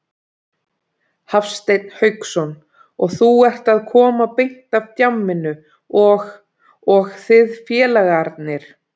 Hafsteinn Hauksson: Og þú ert að koma beint af djamminu og, og þið félagarnir?